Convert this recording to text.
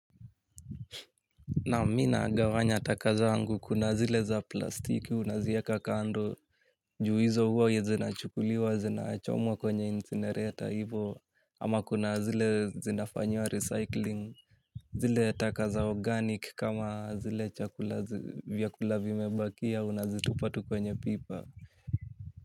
Naam mimi nagawanya taka zangu kuna zile za plastiki unaziweka kando juu hizo huwa ya zinachukuliwa zinachomwa kwenye incinerator hivo ama kuna zile zinafanywa recycling zile taka za organic kama zile vyakula vi mebakia unazitupa tu kwenye pipa.